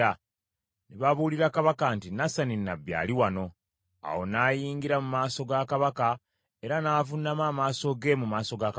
Ne babuulira kabaka nti, “Nasani nnabbi ali wano.” Awo n’ayingira mu maaso ga kabaka, era n’avuunama amaaso ge mu maaso ga kabaka.